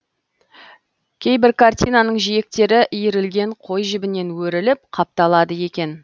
кейбір картинаның жиектері иірілген қой жібінен өріліп қапталады екен